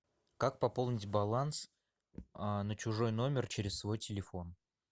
как пополнить баланс на чужой номер через свой телефон